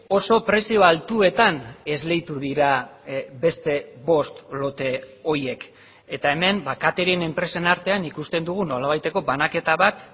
oso prezio altuetan esleitu dira beste bost lote horiek eta hemen ba catering enpresen artean ikusten dugu nolabaiteko banaketa bat